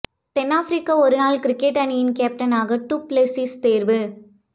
தென் Africa ஒருநாள் cricket அணியின் கேப்டனாக டு பிளெசிஸ் தேர்வு